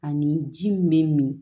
Ani ji min bɛ min